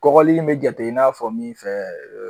Kɔkɔli in mi jate i n'a fɔ min fɛ